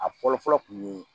A fɔlɔ fɔlɔ kun ye